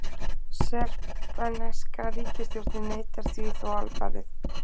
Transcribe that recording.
Serbneska ríkisstjórnin neitar því þó alfarið